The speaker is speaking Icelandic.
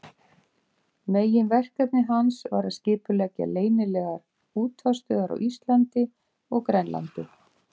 Meginverkefni hans var að skipuleggja leynilegar útvarpsstöðvar á Íslandi og Grænlandi.